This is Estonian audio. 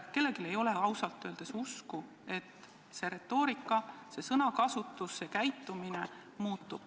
Kellelgi ei ole ausalt öeldes usku, et EKRE sõnakasutus ja käitumine muutub.